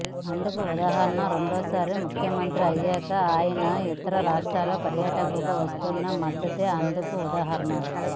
అందుకు ఉదాహరణ రెండోసారి ముఖ్యమంత్రి అయ్యాక ఆయన ఇతర రాష్ట్ర పర్యటనలకు వస్తున్న మద్దతే అందుకు ఉదాహరణ